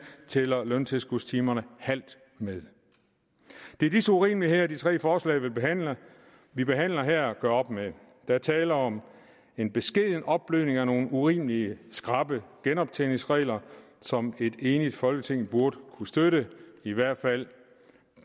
tæller løntilskudstimerne halvt med det er disse urimeligheder de tre forslag vi behandler vi behandler her gør op med der er tale om en beskeden opblødning af nogle urimelig skrappe genoptjeningsregler som et enigt folketing burde kunne støtte i hvert fald